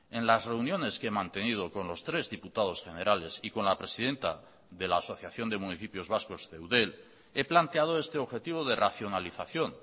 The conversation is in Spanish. en las reuniones que he mantenido con los tres diputados generales y con la presidenta de la asociación de municipios vascos de eudel he planteado este objetivo de racionalización